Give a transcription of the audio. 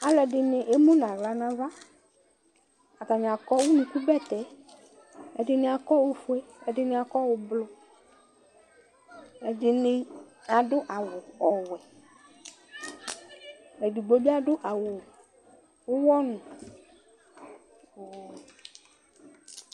Alʋɛdɩnɩ emu nʋ aɣla nʋ ava Atanɩ akɔ unukubɛtɛ Ɛdɩnɩ akɔ ofue, ɛdɩnɩ akɔ ʋblʋ Ɛdɩnɩ adʋ awʋ ɔwɛ Edigbo bɩ adʋ awʋ ʋɣɔnʋ